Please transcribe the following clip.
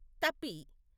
Tapi